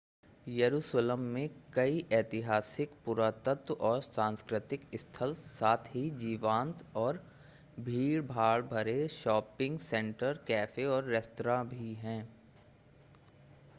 यरुशलम में कई ऐतिहासिक पुरातत्व और सांस्कृतिक स्थल साथ ही जीवंत और भीड़ भरे शॉपिंग सेंटर कैफ़े और रेस्तरां भी हैं